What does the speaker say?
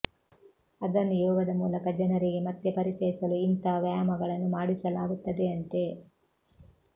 ಅದನ್ನು ಯೋಗದ ಮೂಲಕ ಜನರಿಗೆ ಮತ್ತೆ ಪರಿಚಯಿಸಲು ಇಂಥ ವ್ಯಾಯಾಮಗಳನ್ನು ಮಾಡಿಸಲಾಗುತ್ತದೆಯಂತೆ